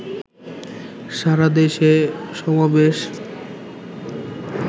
সারাদেশে সমাবেশ